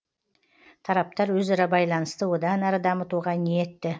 тараптар өзара байланысты одан әрі дамытуға ниетті